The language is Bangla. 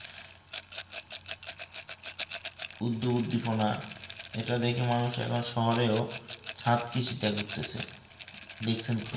উদ্যোগ উদ্দীপনা ইটা দেখে মানুষ শহরেও চাতকী সীতা করতাছে দেখছেন কি